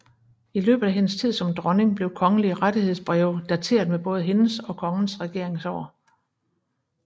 I løbet af hendes tid som dronning blev kongelige rettighedsbreve dateret med både hendes og kongens regeringsår